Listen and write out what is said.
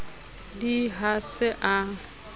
d i ha se a